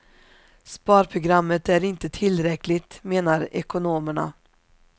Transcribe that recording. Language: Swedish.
Sparprogrammet är inte tillräckligt, menar ekonomerna.